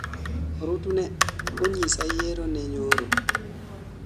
Orutu ne onyisa yiero ne nyoro